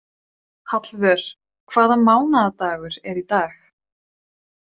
Hallvör, hvaða mánaðardagur er í dag?